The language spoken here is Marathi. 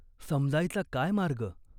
समजायचा काय मार्ग ?